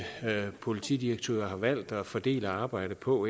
politidirektører har valgt at fordele arbejdet på